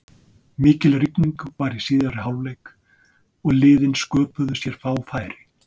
Mikil rigning var í síðari hálfleik og liðin sköpuðu sér fá færi.